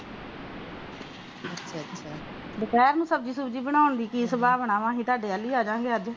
ਦੁਪਹਿਰ ਦੀ ਸਬਜ਼ੀ ਬਨਾਣ ਦੀ ਕਿ ਸੰਬਾਵਣਾ ਹੈ ਅੱਜ ਤੁਹਾਡੇ ਵਲ ਹੀ ਆਜਾਵਗੇ